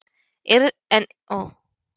En yrði ég góður þjálfari?